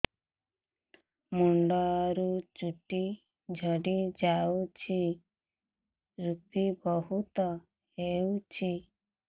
ମୁଣ୍ଡରୁ ଚୁଟି ଝଡି ଯାଉଛି ଋପି ବହୁତ ହେଉଛି